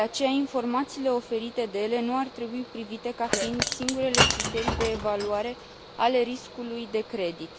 De aceea, informațiile oferite de ele nu ar trebui privite ca fiind singurele criterii de evaluare a riscului de credit.